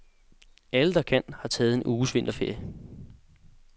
Alle, der kan, har taget en uges vinterferie.